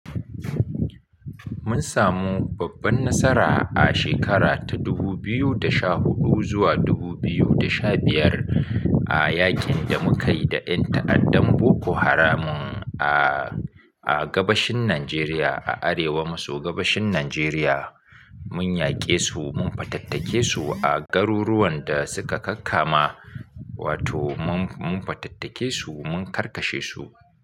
Mun samu babban nasara a shekara ta 2014 zuwa 2015 a yakin da muka yi da ƴan ta'addan Boko Haram a, a gabashin Nijeriya, a arewa maso gabashin Nijeriya. Mun yaƙe su, mun fatattake su a garuruwan da suka kakka ma, wato mun, mun fatattake su, mun karkashe su.